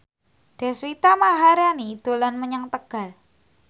Deswita Maharani dolan menyang Tegal